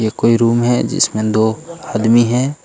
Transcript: ये कोई रूम है जिसमें दो आदमी है।